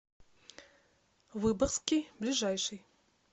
выборгский ближайший